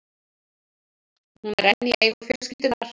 Hún er enn í eigu fjölskyldunnar.